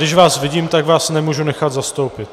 Když vás vidím, tak vás nemůžu nechat zastoupit.